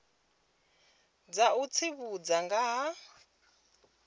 dza u tsivhudza nga ha